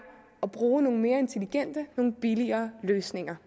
at bruge nogle mere intelligente nogle billigere løsninger